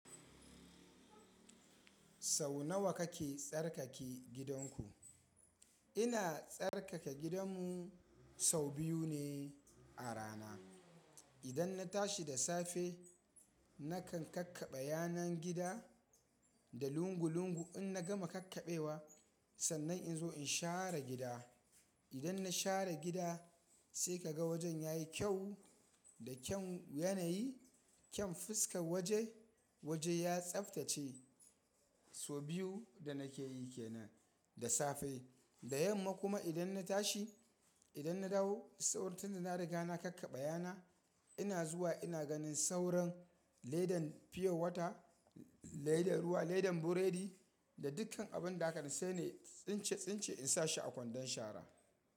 Sau nawa kake tsarkake gidanku? Ina tsarkake gidanmu sau biyu ne a rana. Idan na tashi da safe, nakan kakkaɓe yanar gida da lungu-lungu. In na gama kakkaɓewa, sannan in zo in share gida. Idan na share gida sai ka ga wajen ya yi kyau da kyan yanayi, kyan fuskar waje. Waje ya tsaftace. Sau biyu da nake yi ke nan da safe. Da yamma kuma idan na tashi, idan na dawo, saur tunda na riga na kakkaɓaya na. Ina zuwa ina ganin sauran ledan fiyowata, ledan ruwa, ledan buredi da dukkan abin da haka sai ni tsince-tsince in sa shi a kwandon shara.